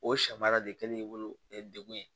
O sɛ baara de kɛlen degun ye